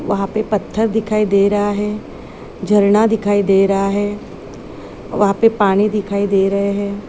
वहा पे पत्थर दिखाई दे रहा है झरना दिखाई दे रहा है वहा पे पानी दिखाई दे रहे है।